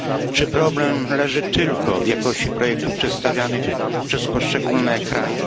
Czy problem leży tylko w jakości projektów przedstawianych przez poszczególne kraje?